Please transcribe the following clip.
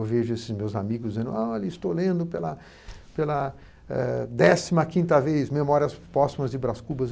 Eu vejo esses meus amigos dizendo estou lendo pela pela décima quinta vez Memórias Póstumas de Bras Cubas